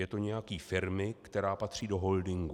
Je to nějaký firmy, která patří do holdingu."